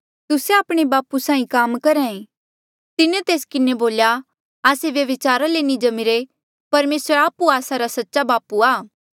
तुस्से आपणे बापू साहीं काम करहा ऐें तिन्हें तेस किन्हें बोल्या आस्से व्यभिचारा ले नी जम्मिरे परमेसर आप्हुए आस्सा रा सच्चा बापू आ